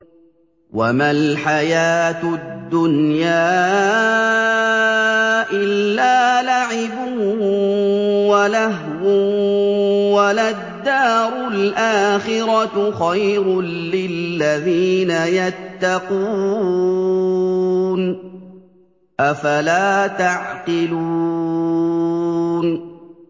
وَمَا الْحَيَاةُ الدُّنْيَا إِلَّا لَعِبٌ وَلَهْوٌ ۖ وَلَلدَّارُ الْآخِرَةُ خَيْرٌ لِّلَّذِينَ يَتَّقُونَ ۗ أَفَلَا تَعْقِلُونَ